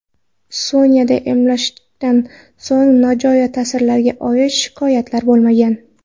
Soniyada emlashdan so‘ng, nojo‘ya ta’sirlarga oid shikoyatlar bo‘lmagan.